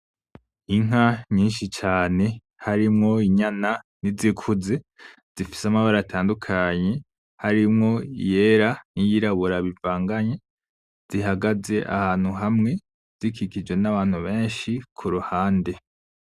Inka nyinshi cane harimwo inyana n'izikuze zifise amabara atandukanye harimwo iyera n'iyirabura bivanganye zihagaze ahantu hamwe zikikijwe n'abantu benshi kuruhande.